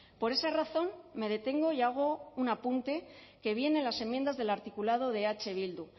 por esa razón me detengo y hago un apunte que viene en las sumiendo del articulado de eh bildu